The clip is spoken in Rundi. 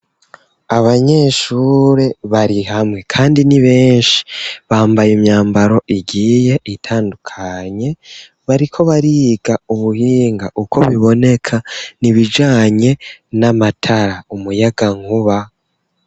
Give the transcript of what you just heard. Abanyeshure bari hamwe, kandi ni benshi bambaye imyambaro igiye itandukanye bariko bariga ubuhinga uko biboneka ni bijanye n'amatara umuyaga nkuba.